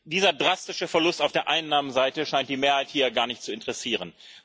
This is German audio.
Dieser drastische Verlust auf der Einnahmenseite scheint die Mehrheit hier gar nicht zu interessieren.